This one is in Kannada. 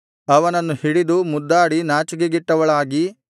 ಅವನನ್ನು ಹಿಡಿದು ಮುದ್ದಾಡಿ ನಾಚಿಕೆಗೆಟ್ಟವಳಾಗಿ